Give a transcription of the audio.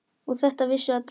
Og þetta vissu allir.